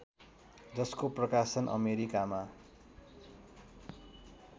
जसको प्रकाशन अमेरिकामा